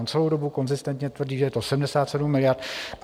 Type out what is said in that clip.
On celou dobu konzistentně tvrdí, že je to 77 miliard.